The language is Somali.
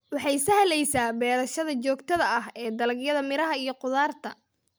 Waxay sahlaysa beerashada joogtada ah ee dalagyada miraha iyo khudaarta.